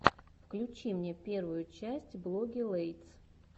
включи мне первую часть блогилэйтс